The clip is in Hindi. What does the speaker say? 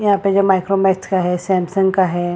यहाँ पे जो माइक्रोमैक्स है सैमसंग का हैं।